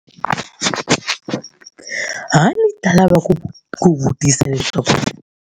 A ni ta lava ku ku vutisa leswaku.